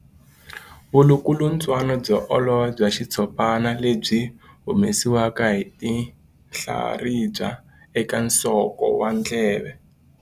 Vulukulutswana byo olova bya xitshopana lebyi byi humesiwaka hi tinhlaribya eka nsoko wa ndleve.